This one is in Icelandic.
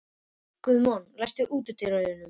Guðmon, læstu útidyrunum.